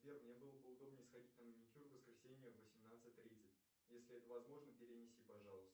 сбер мне было бы удобнее сходить на маникюр в воскресенье в восемнадцать тридцать если это возможно перенеси пожалуйста